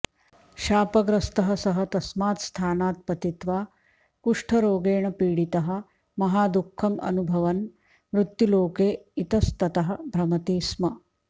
शापग्रस्तः सः तस्मात् स्थानात् पतित्वा कुष्ठरोगेण पीडितः महादुःखम् अनुभवन् मृत्युलोके इतस्ततः भ्रमति स्म